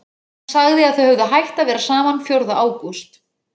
Hann sagði að þau hefðu hætt að vera saman fjórða ágúst.